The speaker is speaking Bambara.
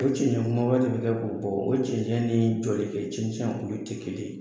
O cɛnɛnkunbaba bɔ o cɛncɛn ni jɔlikɛcɛncɛn olu tɛ kelen ye